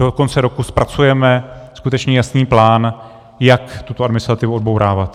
Do konce roku zpracujeme skutečně jasný plán, jak tuto administrativu odbourávat.